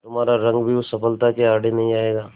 तुम्हारा रंग भी उस सफलता के आड़े नहीं आएगा